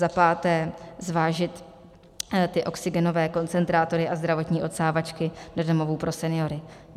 za páté zvážit ty oxygenové koncentrátory a zdravotní odsávačky do domovů pro seniory.